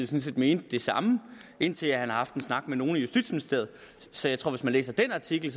set mente det samme indtil han havde haft en snak med nogle i justitsministeriet så jeg tror at hvis man læser den artikel